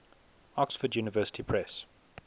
oxford university press